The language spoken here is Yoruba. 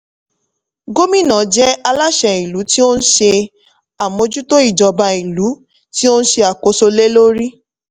gómìnà je aláṣẹ ìlú tí ó ń ṣe àmójútó ijoba ìlú tí ó ń ṣe àkóso lè lórí.